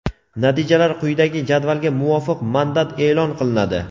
natijalar quyidagi jadvalga muvofiq mandat eʼlon qilinadi:.